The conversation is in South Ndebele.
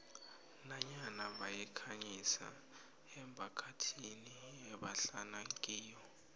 nanyana bayikhangisa emphakathini ebahlala kiyo